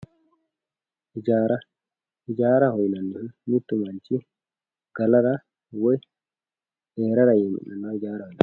ijaara ijaaraho yinannihu mittu manchi galara woy heerara yee mi'nannoha ijaaraho yinanni.